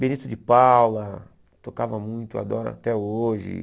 Benito de Paula, tocava muito, adoro até hoje.